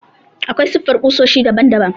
Aƙwai siffar ƙusoshi daɓan daɓan.